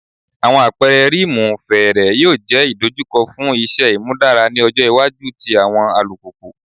Awọn apẹrẹ rim iwuwo fẹẹrẹ yoo jẹ idojukọ fun iṣẹ imudara ni ọjọ iwaju ti awọn alupupu